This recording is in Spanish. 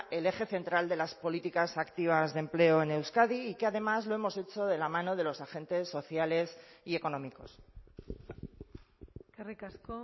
el eje central de las políticas activas de empleo en euskadi y que además lo hemos hecho de la mano de los agentes sociales y económicos eskerrik asko